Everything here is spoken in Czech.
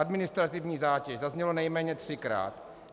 Administrativní zátěž zaznělo nejméně třikrát.